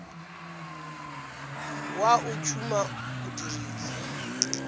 wa o tšhuma o dirile